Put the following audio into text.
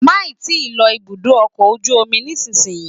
Máì tí ì lọ ibùdó ọkọ̀ ojú omi nísinyí